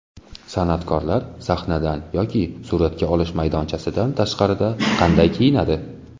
San’atkorlar sahnadan yoki suratga olish maydonchasidan tashqarida qanday kiyinadi?